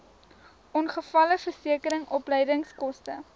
ongevalleversekering opleidingskoste